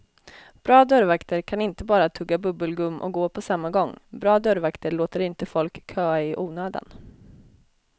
Bra dörrvakter kan inte bara tugga bubbelgum och gå på samma gång, bra dörrvakter låter inte folk köa i onödan.